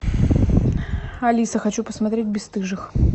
алиса хочу посмотреть бесстыжих